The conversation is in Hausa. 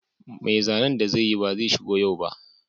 Mai zanen da zai yi ba zai shigo yau ba